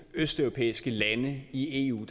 østeuropæiske lande i eu